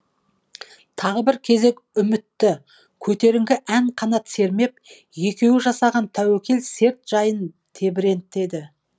тағы бір кезек үмітті көтеріңкі ән қанат сермеп екеуі жасаған тәуекел серт жайын тебірентеді